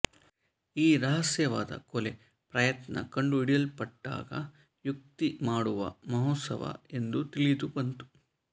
ಈ ರಹಸ್ಯವಾದ ಕೊಲೆ ಪ್ರಯತ್ನ ಕಂಡುಹಿಡಿಯಲ್ಪಟ್ಟಾಗ ಯುಕ್ತಿ ಮಾಡುವ ಮಹೋತ್ಸವ ಎಂದು ತಿಳಿದು ಬಂತು